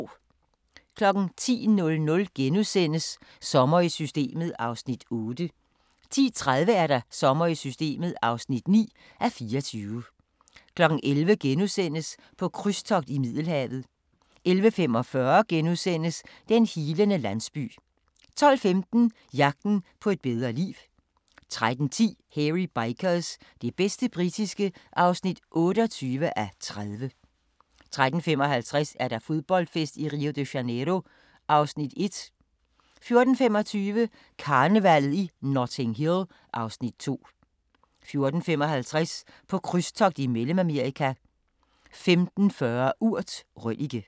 10:00: Sommer i Systemet (8:24)* 10:30: Sommer i Systemet (9:24) 11:00: På krydstogt i Middelhavet * 11:45: Den healende landsby * 12:15: Jagten på et bedre liv 13:10: Hairy Bikers – det bedste britiske (28:37) 13:55: Fodboldfest i Rio de Janeiro (Afs. 1) 14:25: Karnevallet i Notting Hill (Afs. 2) 14:55: På krydstogt i Mellemamerika 15:40: Urt: Røllike